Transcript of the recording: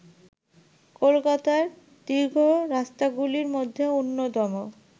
কলকাতার দীর্ঘ রাস্তাগুলির মধ্যে অন্যতম